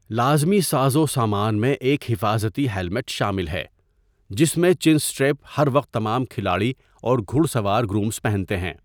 لازمی سازوسامان میں ایک حفاظتی ہیلمٹ شامل ہے جس میں چِنسٹریپ ہر وقت تمام کھلاڑی اور گھڑ سوار گرومز پہنتے ہیں۔